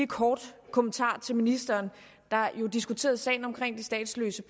kort kommentar til ministeren der jo diskuterede sagen om de statsløse